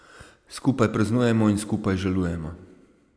Skupaj praznujemo in skupaj žalujemo.